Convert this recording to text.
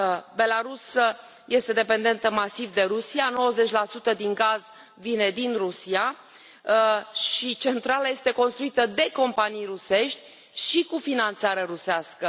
Belarus este dependentă masiv de Rusia, 90 din gaz vine din Rusia și centrala este construită de companii rusești, cu finanțare rusească.